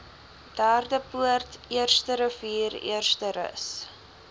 derdepoort eersterivier eersterus